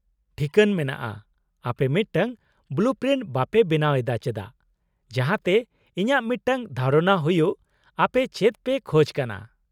-ᱴᱷᱤᱠᱟᱹᱱ ᱢᱮᱱᱟᱜᱼᱟ, ᱟᱯᱮ ᱢᱤᱫᱴᱟᱝ ᱵᱚᱞᱩ ᱯᱨᱤᱱᱴ ᱵᱟᱯᱮ ᱵᱮᱱᱟᱣ ᱮᱫᱟ ᱪᱮᱫᱟᱜ ᱡᱟᱦᱟᱸᱛᱮ ᱤᱧᱟᱹᱜ ᱢᱤᱫᱴᱟᱝ ᱫᱷᱟᱨᱚᱱᱟ ᱦᱩᱭᱩᱜ ᱟᱯᱮ ᱪᱮᱫ ᱯᱮ ᱠᱷᱚᱡ ᱠᱟᱱᱟ ?